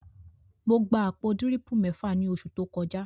Mo gba àpò àwọn dírìpù mẹ́fà ní oṣù tó kọjá